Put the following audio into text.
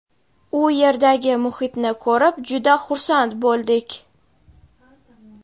u yerdagi muhitni ko‘rib juda xursand bo‘ldik.